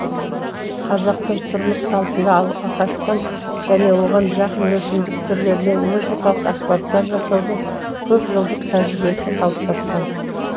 қазақтың тұрмыс салтында ағаштан және оған жақын өсімдік түрлерінен музыкалық аспаптар жасаудың көпжылдық тәжірибесі қалыптасқан